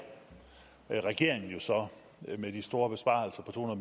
regeringen jo så med de store besparelser på